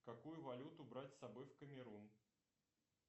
какую валюту брать с собой в камерун